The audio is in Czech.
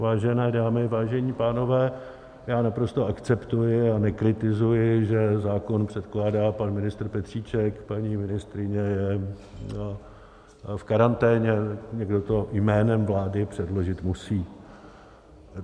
Vážené dámy, vážení pánové, já naprosto akceptuji a nekritizuji, že zákon předkládá pan ministr Petříček, paní ministryně je v karanténě, někdo to jménem vlády předložit musí.